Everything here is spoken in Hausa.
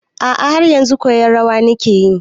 A'a, haryanzu koyan rawan nike yi.